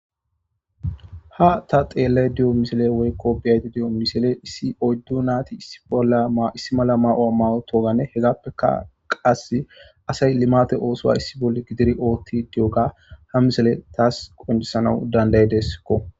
Ha ta xeellay diyo misile woykko biyayti diyo misile issi oyddu naati laissi mala ma7oa mawo toganne hegappeka qas asay limate oosowa issi bolle gidiri ootti diyoga ha misile taas qonjisanau dandaye deskko